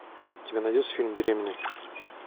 у тебя найдется фильм беременный